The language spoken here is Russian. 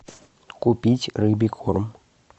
купить рыбий корм